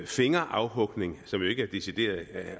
fingerafhugning som jo ikke er decideret